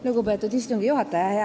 Lugupeetud istungi juhataja!